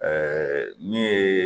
Ɛɛ n yee